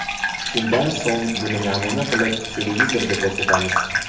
Shundan so‘ng, buni namuna qilib televizorda ko‘rsatamiz.